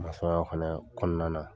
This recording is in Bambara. Masɔnya fɛnɛ kɔnɔna na.